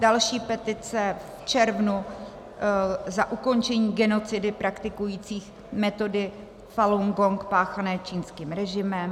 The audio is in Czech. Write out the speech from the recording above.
Další petice v červnu za ukončení genocidy praktikujících metody Falun Gong páchané čínským režimem.